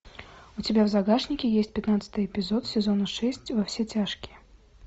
у тебя в загашнике есть пятнадцатый эпизод сезона шесть во все тяжкие